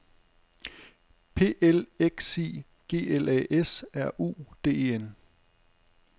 P L E X I G L A S R U D E N